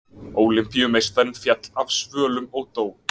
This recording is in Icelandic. Ólympíumeistarinn féll af svölum og dó